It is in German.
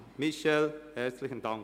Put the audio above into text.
Michel Walthert, herzlichen Dank!